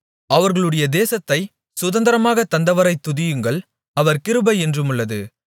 அவர்களுடைய தேசத்தைச் சுதந்தரமாகத் தந்தவரைத் துதியுங்கள் அவர் கிருபை என்றுமுள்ளது